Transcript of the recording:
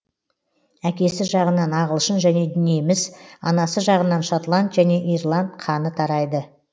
әкесі жағынан ағылшын және неміс анасы жағынан шотланд және ирланд қаны тарайды